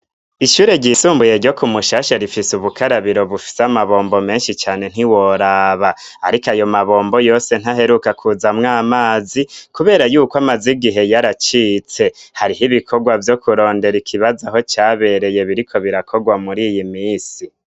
Ishure ryisumbuye ryo ku mushasha rifise ubukarabiro bufise amabombo menshi cane ntiworaba, ariko ayo mabombo yose ntaheruka kuzamwo amazi, kubera yuko amazi gihe yaaracitse hariho ibikorwa vyo kurondera ikibaza aho cabereye biriko birakorwa muri iyi misi.